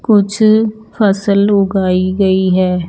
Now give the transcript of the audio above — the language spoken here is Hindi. कुछ फसल उगाई गई है।